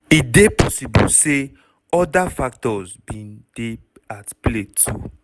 e dey possible say oda factors bin dey at play too.